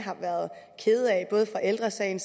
både ældre sagen